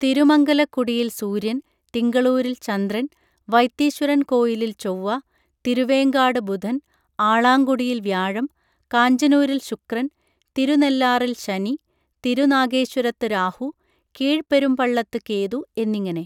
തിരുമംഗലക്കുടിയിൽ സൂര്യൻ തിങ്കളൂരിൽ ചന്ദ്രൻ വൈത്തീശ്വരൻ കോയിലിൽ ചൊവ്വ തിരുവേങ്കാട് ബുധൻ ആളാങ്കുടിയിൽ വ്യാഴം കാഞ്ചനൂരിൽ ശുക്രൻ തിരുനെല്ലാറിൽ ശനി തിരുനാഗേശ്വരത്ത് രാഹു കീഴ്പെരുംപള്ളത്ത് കേതു എന്നിങ്ങനെ